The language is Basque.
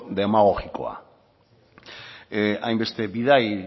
demagogikoa hainbeste bidai